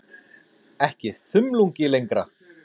Ekki þumlungi lengra.